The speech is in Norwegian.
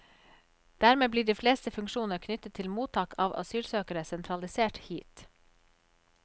Dermed blir de fleste funksjoner knyttet til mottak av asylsøkere sentralisert hit.